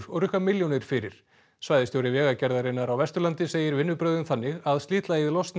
og rukka milljónir fyrir svæðisstjóri Vegagerðarinnar á Vesturlandi segir vinnubrögðin þannig að slitlagið losni